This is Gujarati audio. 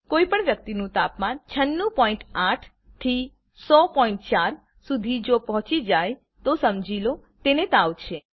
કોઈ પણ વ્યક્તિનું તાપમાન 968 થી 1004º શુધી જો પહોચી જાય તો સમજી લો તેને તાવ છે